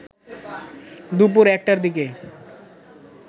দুপুর ১টার দিকে